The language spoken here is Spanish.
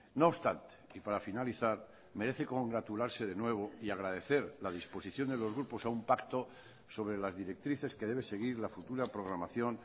no obstante y para finalizar merece congratularse de nuevo y agradecer la disposición de los grupos a un pacto sobre las directrices que debe seguir la futura programación